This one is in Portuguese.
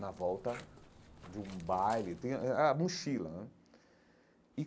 na volta de um baile, tem a a a mochila hum.